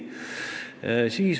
Nii.